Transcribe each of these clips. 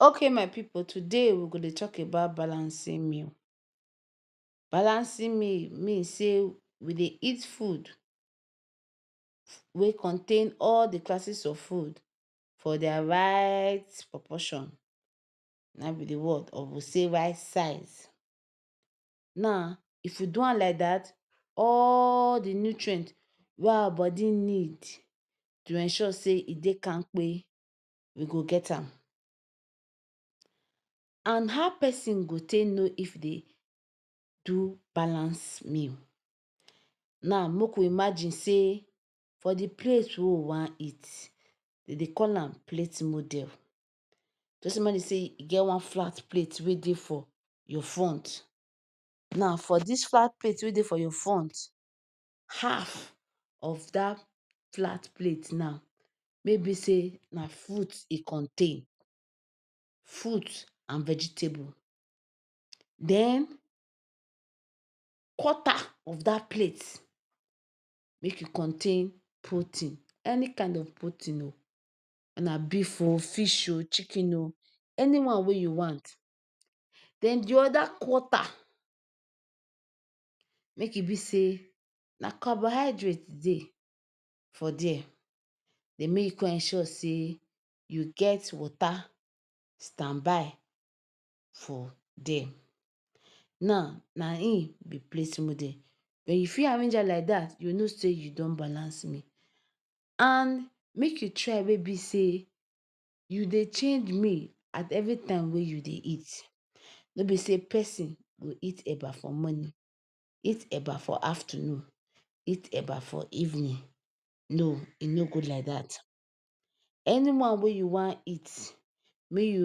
Ok my pipu, today we go dey talk about balancing meal. Balancing meal, mean say we dey eat food wey contain all de classes of food for their right proportion na be de word or you say right size. Now if you do am like dat all de nutrient wey our body need to ensure say e dey kankpe we go get am and how person go take know if e dey do balance meal, now make we imagine say for de plate wey we wan eat dem dey call am plate model tell somebody say e get one flat plate wey your front now for dis flat plate wey dey for your front half of dat flat plate now, maybe say na fruit e contain, fruit and vegetable den quarter of dat plate make e contain protein any kind of protein um na beef um, fish um chicken um any one wey you want den de other quarter make e be say na carbohydrate dey for there then make you come ensure say you get water stand by for there now na e be plate model when you fit arrange am like dat you know say you don balance meal and make you try wey be say you dey change meal at every time wey you dey eat nor person go eat ?eba for morning, eat eba for afternoon, eat eba for evening, no, e nor good like dat any one wey you wan eat make you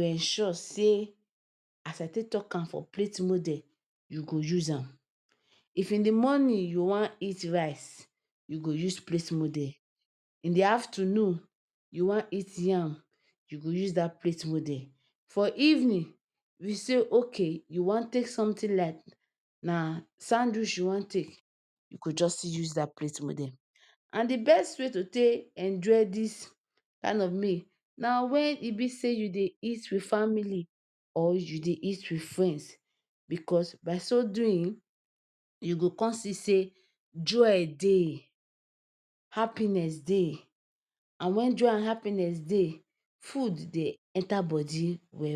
ensure say as I take talk for plate model e go use am if in de morning you want eat rice you go use plate model in the afternoon you want eat yam you go use dat plate model for evening you say ok you wan take something like na sandwich you wan take you go just still use dat plate model and de best way to take enjoy dis kind of meal na when e be say you dey eat with family or you dey eat with friends because by so doing you go come see say joy dey happiness dey and when joy and happiness dey food dey enter body well.